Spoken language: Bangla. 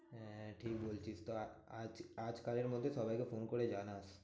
হ্যাঁ ঠিক বলছিস তো আহ আজ~ আজকালের মধ্যে সবাইকে ফোন করে জানাস।